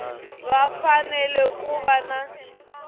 va fanele ku va na